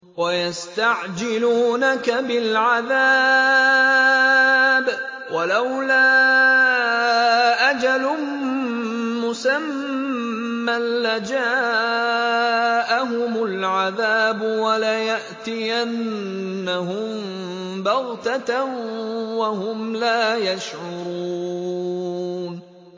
وَيَسْتَعْجِلُونَكَ بِالْعَذَابِ ۚ وَلَوْلَا أَجَلٌ مُّسَمًّى لَّجَاءَهُمُ الْعَذَابُ وَلَيَأْتِيَنَّهُم بَغْتَةً وَهُمْ لَا يَشْعُرُونَ